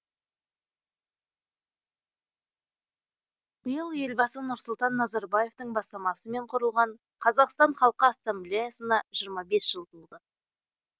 биыл елбасы нұрсұлтан назарбаевтың бастамасымен құрылған қазақстан халқы ассамблеясына жиырма бес жыл толды